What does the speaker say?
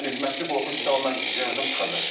Yəni məşqçi qorxur ki, sabah mən gələcəm, çıxacam.